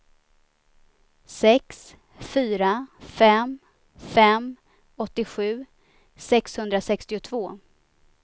sex fyra fem fem åttiosju sexhundrasextiotvå